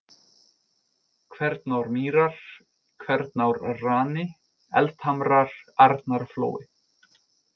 Kvernármýrar, Kvernárrani, Eldhamrar, Arnarflói